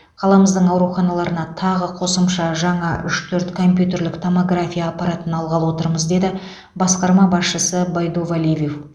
қаламыздың ауруханаларына тағы қосымша жаңа үш төрт компьютерлік томография аппаратын алғалы отырмыз деді басқарма басшысы байдувалиев